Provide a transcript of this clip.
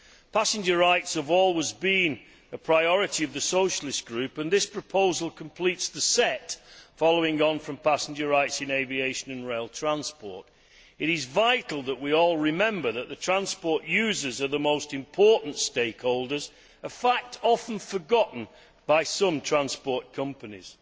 Passenger rights have always been a priority of the Socialist Group, and this proposal completes the set, following on from passenger rights in aviation and rail transport. It is vital that we all remember that the users of transport are the most important stakeholders a fact often forgotten by some transport companies.